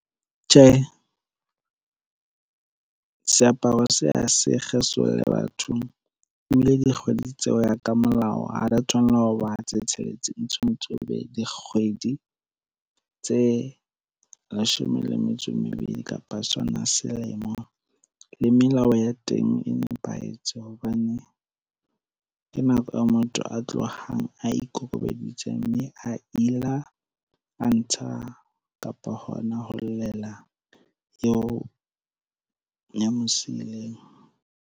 Tjhe, seaparo se ha se kgesolle batho, ebile dikgwedi tse ho ya ka molao, ha di ya tshwanela ka ho ba tse tsheletseng, tshwanetse e be dikgwedi tse leshome le metso e mebedi kapa sona selemo. Le melao ya teng e nepahetse, hobane ke nako ya motho a tlohang a ikokobeditse mme a ila, a ntsha kapa hona ho llela eo ya mo siileng.